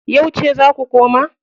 Yauce za ku koma?